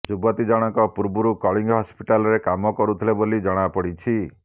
ଯୁବତୀ ଜଣକ ପୂର୍ବରୁ କଳିଙ୍ଗ ହସ୍ପିଟାଲରେ କାମ କରୁଥିଲେ ବୋଲି ଜଣା ପଡିଛି